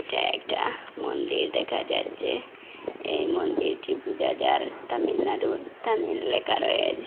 এটা একটা মন্দির দেখা যাচ্ছে এই মন্দিরটি পূজা যার তামিলনাড়ুর তামিল লেখা রয়েচে।